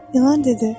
İlan dedi: